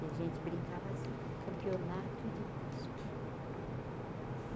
E a gente brincava assim, campeonato de cuspe.